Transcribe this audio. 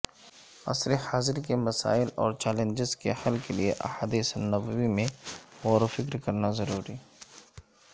عصر حاضر کے مسائل اور چیلنجز کے حل کیلئے احادیث نبوی میں غوروفکر کرنا ضروری